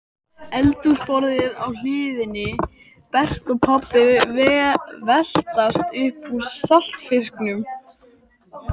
Eldhúsborðið á hliðinni, Berti og pabbi veltast upp úr saltfisknum